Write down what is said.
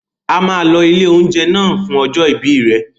A máa lọ ilé-oúnjẹ náà fún ọjọ́ ìbí rẹ.